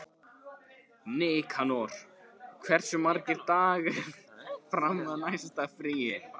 Nikanor, hversu margir dagar fram að næsta fríi?